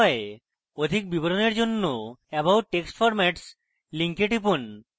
অধিক বিবরণের জন্য about text formats link টিপুন